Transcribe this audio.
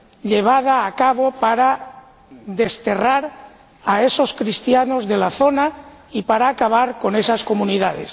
llevada a cabo para desterrar a esos cristianos de la zona y para acabar con esas comunidades.